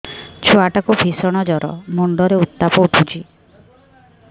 ଛୁଆ ଟା କୁ ଭିଷଣ ଜର ମୁଣ୍ଡ ରେ ଉତ୍ତାପ ଉଠୁଛି